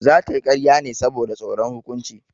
Za ta yi ƙarya ne saboda tsoron hukunci.